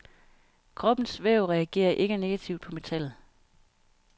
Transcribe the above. Kroppens væv reagerer ikke negativt på metallet.